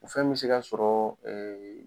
O fɛn bɛ se ka sɔrɔ